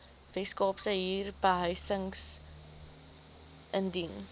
weskaapse huurbehuisingstribunaal indien